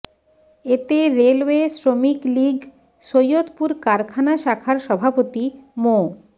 এতে রেলওয়ে শ্রমিক লীগ সৈয়দপুর কারখানা শাখার সভাপতি মো